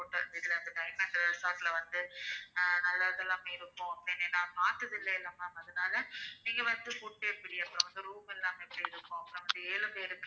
நீங்க வந்து full day இங்க room எல்லாமே செய்திருக்கோம் உங்க ஏழு பேருக்கு.